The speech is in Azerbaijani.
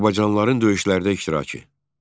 Azərbaycanlıların döyüşlərdə iştirakı.